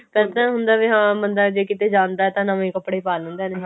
ਇੱਦਾਂ ਹੁੰਦਾ ਵੀ ਹਾਂ ਬੰਦਾ ਜੇ ਕੀਤੇ ਜਾਂਦਾ ਤਾਂ ਨਵੇਂ ਕਪੜੇ ਪਾ ਲੈਂਦਾ